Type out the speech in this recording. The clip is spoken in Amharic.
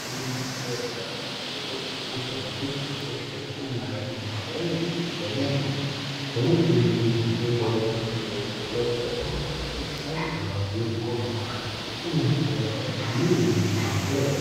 ብዙ መጠን ያለው እሳት ከከረጢቶች እና ከሌሎች ቁሶች በተከመረ ክምር ላይ እየነደደ ነው። ፖሊስ የሚመስሉ የደንብ ልብስ የለበሱ ሰዎች በአካባቢው ቆመዋል። የተከማቸው ዕቃዎች ምን ዓይነት ናቸው?